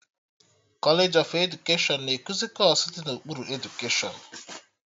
Kọlej of edukeshọn na-ekuzi kọọsụ dị n'okpuru edukeshọn